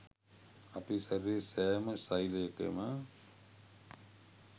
අපේ ශරීරයේ සෑම ෙසෙලයකම